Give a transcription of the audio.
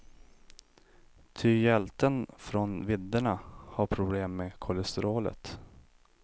Ty hjälten från vidderna har problem med kolesterolet.